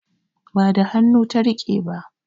Ba da hannu ta riƙe ba